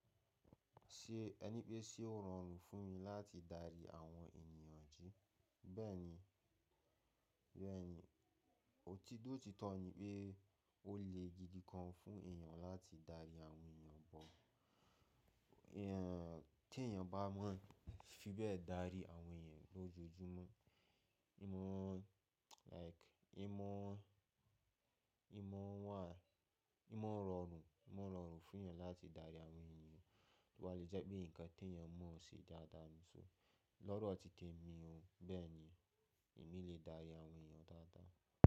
Ṣé ẹ ní pé ṣé ó rọrùn fún mi láti darí àwọn ènìyàn jí? Bẹ́ẹ̀ni, Bẹ́ẹ̀ni, òtítọ́ títọ́ ni pé ó le gidi gan fún èèyàn láti darí àwọn èèyàn bọ́. Tí èèyàn bá mọ̀, fi bẹ́ẹ̀ darí àwọn èèyàn lójoojúmọ́. Hín mọ̀ like hín mọ̀, hín mọ̀ wà, hín mọ̀ rọrùn, hín mọ̀ rọrùn fún èèyàn láti darí àwọn èèyàn. Wọ́n le jẹ́ pé nǹkan tí èèyàn mọ̀ọ́ ṣì dáadáa mú. So, lọ́rọ̀ títe mi o, bẹ́ẹ̀ni èmi lè dárí àwọn èèyàn dáadáa.